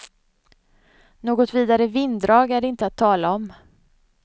Något vidare vinddrag är det inte att tala om.